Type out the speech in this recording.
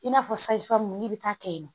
I n'a fɔ sayi furamu n'i bɛ taa kɛ yen nɔ